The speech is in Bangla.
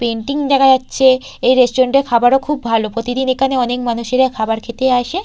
পেইন্টিং দেখা যাচ্ছে এই রেস্টুরেন্ট -এর খাবারও খুব ভালো প্রতিদিন এখানে অনেক মানুষেরা খাবার খেতে আসে।